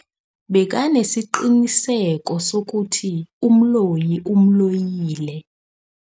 Bekanesiqiniseko sokuthi umloyi umloyile.